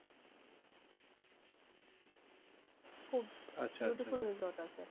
খুব আচ্ছা আচ্ছা beautiful resort আছে।